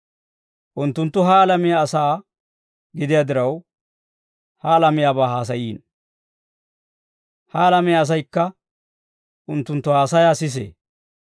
Unttunttu ha alamiyaa asaa gidiyaa diraw, ha alamiyaabaa haasayiino; ha alamiyaa asaykka unttunttu haasayaa sisee.